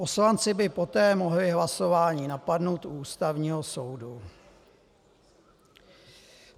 Poslanci by poté mohli hlasování napadnout u Ústavního soudu.